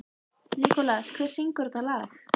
Nikolas, hver syngur þetta lag?